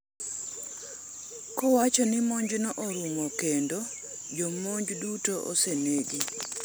kowacho ni monjno orumo kendo jomonj duto osenegi